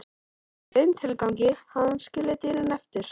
Í þeim tilgangi hafði hann skilið dýrin eftir í